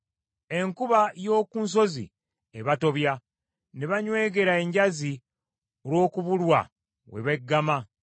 Enkuba y’oku nsozi ebatobya, ne banywegera enjazi olw’okubulwa we beggama.